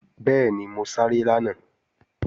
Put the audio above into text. Bẹ́ẹ̀ni, mo sáré lánàá